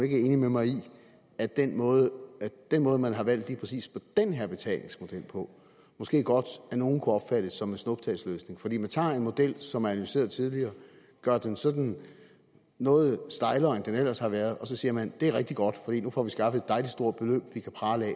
enig med mig i at den måde den måde man har valgt lige præcis den her betalingsmodel på måske godt af nogle kunne opfattes som en snuptagsløsning fordi man tager en model som er analyseret tidligere gør den sådan noget stejlere end den ellers har været og så siger man det er rigtig godt for nu får vi skaffet et dejligt stort beløb vi kan prale af